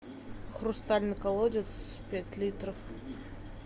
хрустальный колодец пять литров